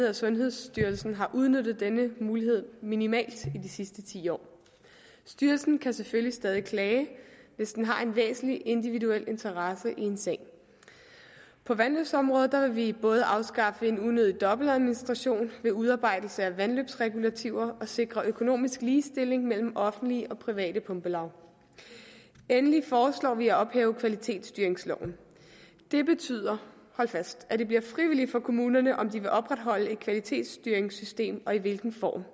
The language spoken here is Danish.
at sundhedsstyrelsen har udnyttet denne mulighed minimalt i de sidste ti år styrelsen kan selvfølgelig stadig klage hvis de har en væsentlig individuel interesse i en sag på vandløbsområdet vil vi både afskaffe en unødig dobbeltadministration ved udarbejdelse af vandløbsregulativer og sikre økonomisk ligestilling mellem offentlige og private pumpelav endelig foreslår vi at ophæve kvalitetsstyringsloven det betyder hold fast at det bliver frivilligt for kommunerne om de vil opretholde et kvalitetsstyringssystem og i hvilken form